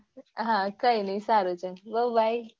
હા કઈ નઈ સારું ચાલ બ bye